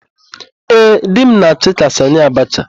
Ee, di m na-achị ka Sanị Abacha.